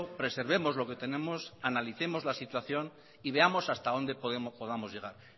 preservemos lo que tenemos analicemos la situación y veamos hasta dónde podamos llegar